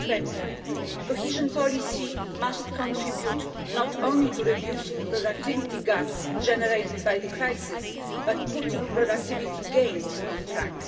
2020. Cohesion policy must contribute not only to reducing productivity gaps generated by the crisis, but also to putting productivity gains on track.